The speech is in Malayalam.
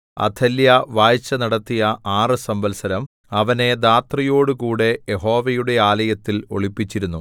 അഥല്യാ വാഴ്ച നടത്തിയ ആറ് സംവൽസരം അവനെ ധാത്രിയോടുകൂടെ യഹോവയുടെ ആലയത്തിൽ ഒളിപ്പിച്ചിരുന്നു